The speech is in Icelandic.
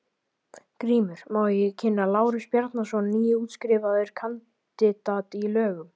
GRÍMUR: Má ég kynna: Lárus Bjarnason, nýútskrifaður kandidat í lögum.